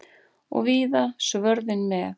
Og víða svörðinn með.